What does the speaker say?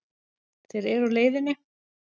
Þeir eru á leiðinni.